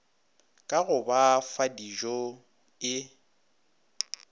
ka go ba fadijo e